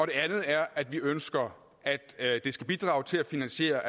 det andet er at vi ønsker at det skal bidrage til at finansiere